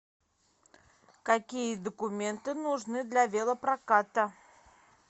какие документы нужны для велопроката